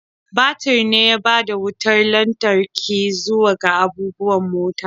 Batir ne ya bada wutar lantarki zuwa ga abubuwan mota.